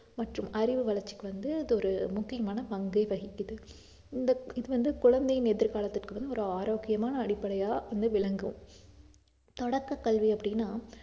மற்றும் அறிவு வளர்ச்சிக்கு வந்து இது ஒரு முக்கியமான பங்கை வகிக்குது இந்த இது வந்து குழந்தையின் எதிர்காலத்துக்கு வந்து ஒரு ஆரோக்கியமான அடிப்படையா வந்து விளங்கும் தொடக்கக் கல்வி அப்படின்னா